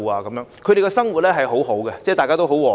居民的生活很好，大家也很和諧。